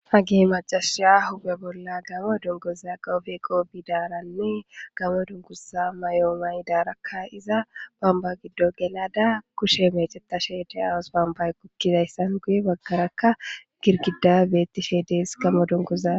hagehe majaasha hube bolla gamo dungoza gawofeqo bidaaranne gamo dunkusa may7oomay daarakka iza bamba giddo gelada kushe mecetashe diyawos bamba gukkidayssan guye baggarakka girgida beettishee dees gamo dunkuzaaa